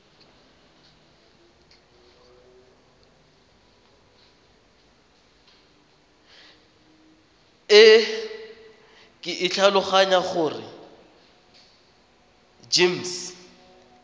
e ke tlhaloganya gore gems